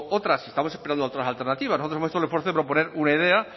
otras estamos esperando otras alternativas nosotros hemos hecho el esfuerzo de proponer una idea